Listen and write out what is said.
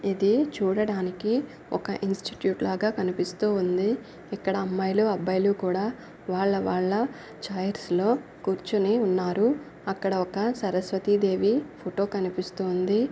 ఇది చూడడానికి ఒక ఇన్స్టిట్యూట్ లాగా కనిపిస్తూ ఉంది. ఇక్కడ అమ్మాయిలు అబ్బాయిలు కూడా వాళ్ళ వాళ్ళచైర్స్ లో కూర్చొని ఉన్నారు. అక్కడ ఒక సరస్వతి దేవి ఫోటో కనిపిస్తుంది.